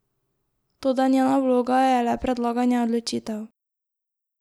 Toda njena vloga je le predlaganje odločitev.